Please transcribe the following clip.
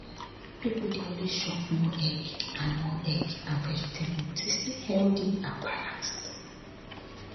people dey always chop more egg and more egg and vegetable to stay healthy and balanced